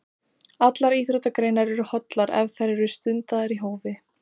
Allar íþróttagreinar eru hollar ef þær eru stundaðar í hófi.